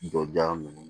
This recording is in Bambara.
Jɔda ninnu